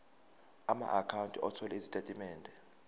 amaakhawunti othola izitatimende